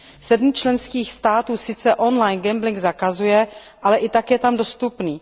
Sedm členských států sice on line gambling zakazuje, ale i tak je tam dostupný.